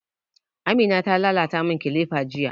Amina ta lalata mun kilifa jiya